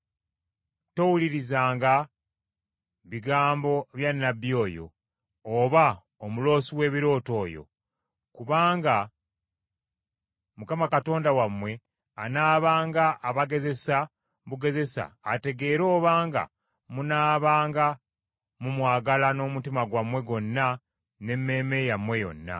towulirizanga bigambo bya nnabbi oyo, oba omuloosi w’ebirooto oyo. Kubanga Mukama Katonda wammwe anaabanga abagezesa bugezesa ategeere obanga munaabanga mumwagala n’omutima gwammwe gwonna n’emmeeme yammwe yonna.